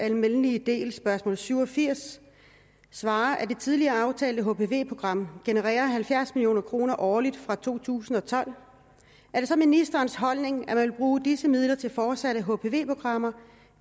almindelig del spørgsmål syv og firs svarer at det tidligere aftalte hpv program genererer halvfjerds million kroner årligt fra to tusind og tolv er det så ministerens holdning at man vil bruge disse midler til fortsatte hpv programmer